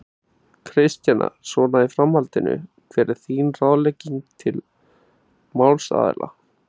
Kristjana: Svona í framhaldinu, hver væri þín ráðlegging til málsaðila?